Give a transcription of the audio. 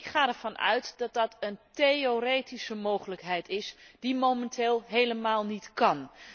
Ik ga ervan uit dat dat een theoretische mogelijkheid is die momenteel helemaal niet kan.